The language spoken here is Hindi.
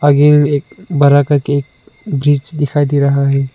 ये एक बड़ा करके ब्रिज दिखाई दे रहा है।